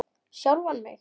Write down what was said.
Sjálfan mig?